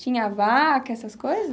Tinha vaca, essas coisa?